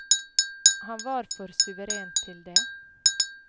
Han er for suveren til det.